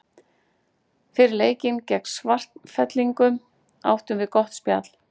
Fyrir leikinn gegn Svartfellingum áttum við gott spjall.